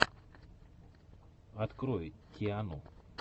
открой тиану